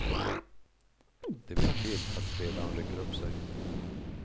Det vill till att spelarna rycker upp sig.